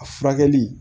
A furakɛli